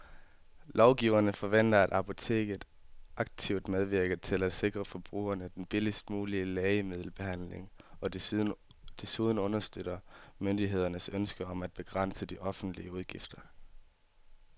Lovgiverne forventer, at apoteket aktivt medvirker til at sikre forbrugerne den billigst mulige lægemiddelbehandling og desuden understøtter myndighedernes ønske om at begrænse de offentlige udgifter.